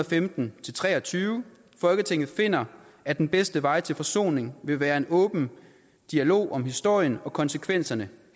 femten til tre og tyve folketinget finder at den bedste vej til forsoning vil være en åben dialog om historien og konsekvenserne